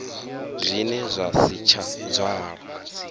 zwine zwa si tsha dzwala